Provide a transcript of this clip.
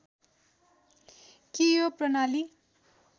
कि यो प्रणाली